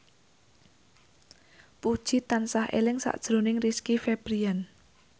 Puji tansah eling sakjroning Rizky Febian